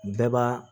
Bɛɛ b'a